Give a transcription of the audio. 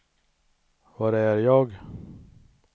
var är jag